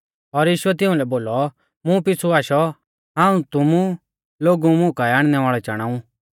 और यीशुऐ तिउंलै बोलौ मुं पिछ़ु आशौ हाऊं तुमु लोगु मुं काऐ आणनै वाल़ै चाणाऊ